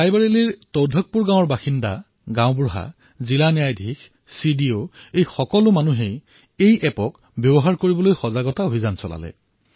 ৰায়বৰেলীৰ এই তৌধকপুৰ গাঁৱৰ বাসিন্দাসকলে গ্ৰামপ্ৰধান জিলা ন্যায়াধীশ চিডিঅ সকলোৱে এই এপটো ব্যৱহাৰ কৰাৰ বাবে জনসাধাৰণক সজাগ কৰিলে